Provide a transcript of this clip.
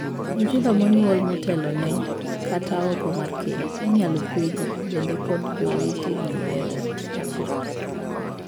Nyithindo monyuol motelone, kata oko mar keny, inyal kwedi bende kod jowetegi ei ot achiel.